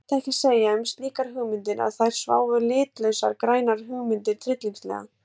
Mætti ekki segja um slíkar hugmyndir að þar svæfu litlausar grænar hugmyndir tryllingslega?